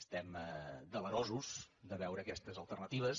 estem delerosos de veure aquestes alternatives